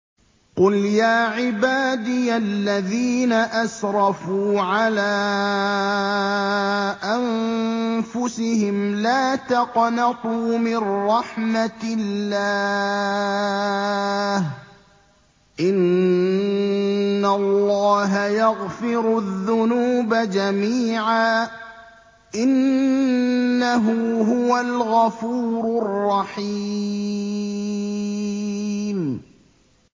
۞ قُلْ يَا عِبَادِيَ الَّذِينَ أَسْرَفُوا عَلَىٰ أَنفُسِهِمْ لَا تَقْنَطُوا مِن رَّحْمَةِ اللَّهِ ۚ إِنَّ اللَّهَ يَغْفِرُ الذُّنُوبَ جَمِيعًا ۚ إِنَّهُ هُوَ الْغَفُورُ الرَّحِيمُ